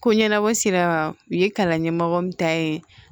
Ko ɲɛnabɔ sera u ye kalan ɲɛmɔgɔ min ta ye